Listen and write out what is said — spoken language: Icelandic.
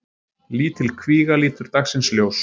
Lítil kvíga lítur dagsins ljós